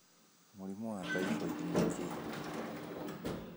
Mũrimũ wa typhoid nĩ kĩĩ?